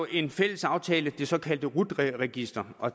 en fælles aftale det såkaldte rut register og